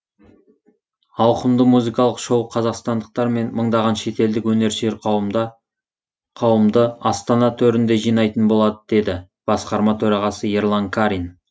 ауқымды музыкалық шоу қазақстандықтар мен мыңдаған шетелдік өнерсүйер қауымды астана төрінде жинайтын болады деді басқарма төрағасы ерлан карин